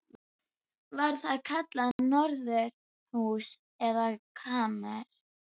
Var það kallað norðurhús eða kamers